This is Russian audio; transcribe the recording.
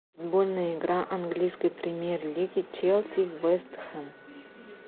футбольная игра английской премьер лиги челси вест хэм